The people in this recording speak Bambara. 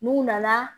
N'u nana